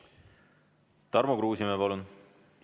Tarmo Kruusimäe, palun!